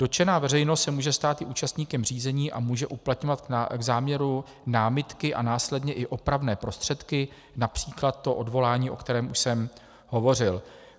Dotčená veřejnost se může stát i účastníkem řízení a může uplatňovat k záměru námitky a následně i opravné prostředky, například to odvolání, o kterém už jsem hovořil.